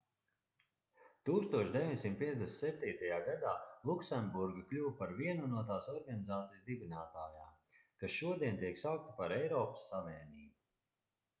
1957. gadā luksemburga kļuva par vienu no tās organizācijas dibinātājām kas šodien tiek saukta par eiropas savienību